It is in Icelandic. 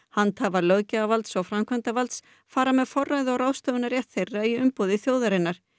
handhafar löggjafarvalds og framkvæmdarvalds fara með forræði og ráðstöfunarrétt þeirra í umboði þjóðarinnar